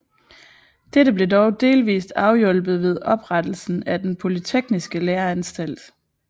Dette blev dog delvis afhjulpet ved oprettelsen af den polytekniske læreanstalt